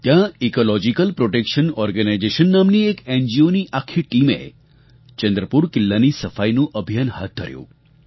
ત્યાં Ecological Protection Organisation નામની એક એનજીઓની આખી ટીમે ચંદ્રપુર કિલ્લાની સફાઈનું અભિયાન હાથ ધર્યુ